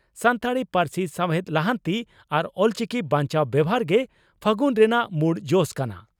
ᱥᱟᱱᱛᱟᱲᱤ ᱯᱟᱹᱨᱥᱤ ᱥᱟᱣᱦᱮᱫ ᱞᱟᱦᱟᱱᱛᱤ ᱟᱨ ᱚᱞᱪᱤᱠᱤ ᱵᱟᱧᱪᱟᱣ ᱵᱮᱵᱷᱟᱨ ᱜᱮ 'ᱯᱷᱟᱹᱜᱩᱱ' ᱨᱮᱱᱟᱜ ᱢᱩᱲ ᱡᱚᱥ ᱠᱟᱱᱟ ᱾